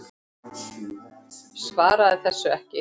Svaraði þessu ekki.